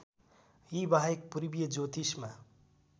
यीबाहेक पूर्वीय ज्योतिषमा